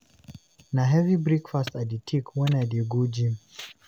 Na heavy breakfast I dey take when I dey go gym.